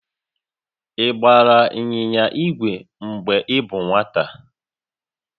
Ị gbara ịnyịnya igwe mgbe ị bụ nwata?